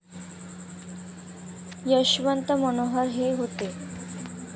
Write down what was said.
यशवंत मनोहर हे होते.